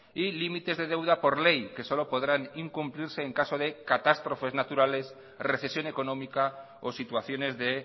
y límites de deuda por ley que solo podrán incumplirse en caso de catástrofe naturales recesión económica o situaciones de